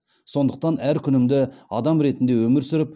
сондықтан әр күнімді адам ретінде өмір сүріп